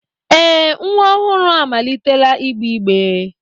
Ee nwa ọhụrụ amalitela ịgbe igbe